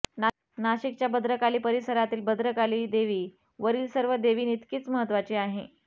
नाशिकच्या भद्रकाली परिसरातील भद्रकाली देवी वरील सर्व देवींइतकीच महत्त्वाची आहे